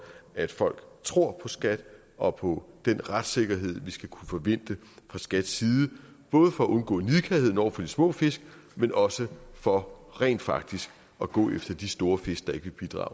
at folk tror på skat og på den retssikkerhed vi skal kunne forvente fra skats side både for at undgå nidkærhed over for de små fisk men også for rent faktisk at gå efter de store fisk der ikke vil bidrage